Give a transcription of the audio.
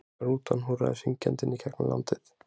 Rútan húrraði syngjandi gegnum landið.